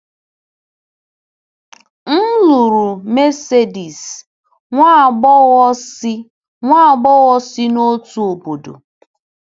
M lụrụ Mercedes, nwa agbọghọ si agbọghọ si n’otu obodo.